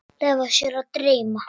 Leyfa sér að dreyma.